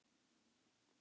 Svona var Hörður.